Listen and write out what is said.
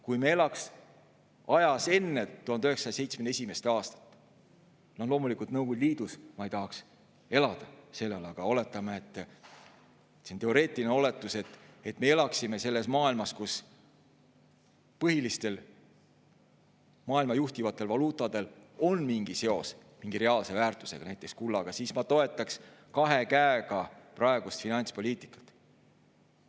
Kui me elaksime ajas enne 1971. aastat – no loomulikult Nõukogude Liidus ma ei tahaks elada sel ajal, aga oletame, see on teoreetiline oletus, et me elaksime selles maailmas, kus põhilistel maailma juhtivatel valuutadel on mingi seos mingi reaalse väärtusega, näiteks kullaga –, siis ma toetaksin kahe käega praegust finantspoliitikat.